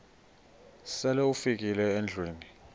sele ufikile endlwini